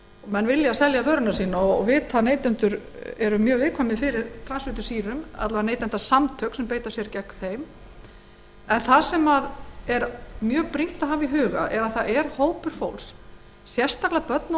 menn vilja selja vöruna sína og vita að neytendur eru mjög viðkvæmir fyrir transfitusýrum að minnsta kosti beita neytendasamtök sér gegn þeim það er mjög brýnt að hafa í huga að hópur fólks sérstaklega börn og